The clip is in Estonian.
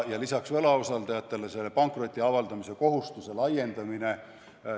Peale selle laiendatakse pankroti avaldamise kohustust.